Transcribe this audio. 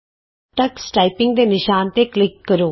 Tux typing ਦੇ ਨਿਸ਼ਾਨ ਤੇ ਕਲਿਕ ਕਰੋ